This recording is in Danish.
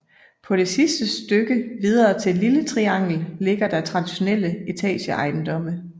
På det sidste stykke videre til Lille Triangel ligger der traditionelle etageejendomme